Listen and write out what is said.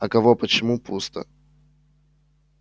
а кого почему пусто